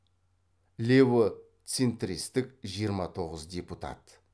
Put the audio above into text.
лево центристік жиырма тоғыз депутат